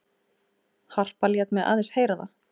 Harpa lét mig aðeins heyra það.